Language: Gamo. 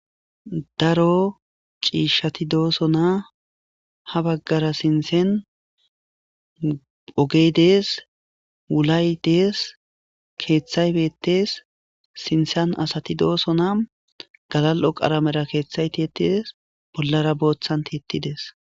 daro ciishshati doosona ha baggara sintsen ogeydees wulay dees keeththay beettees sintsan asati doosona galal7o qaramera keeththay tietides bollara booththan tiittides